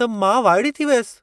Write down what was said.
त मां वाइड़ी थी वियसि।